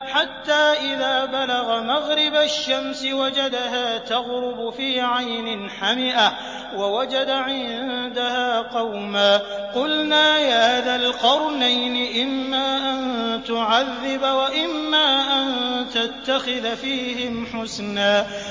حَتَّىٰ إِذَا بَلَغَ مَغْرِبَ الشَّمْسِ وَجَدَهَا تَغْرُبُ فِي عَيْنٍ حَمِئَةٍ وَوَجَدَ عِندَهَا قَوْمًا ۗ قُلْنَا يَا ذَا الْقَرْنَيْنِ إِمَّا أَن تُعَذِّبَ وَإِمَّا أَن تَتَّخِذَ فِيهِمْ حُسْنًا